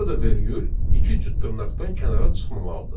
Burada vergül iki cüt dırnaqdan kənara çıxmamalıdır.